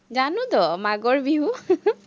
জানোতো, মাগৰ বিহু